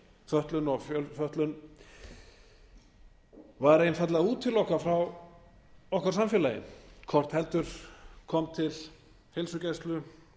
fötlun og fjölfötlun var einfaldlega útilokað frá okkar samfélagi hvort heldur kom til heilsugæslu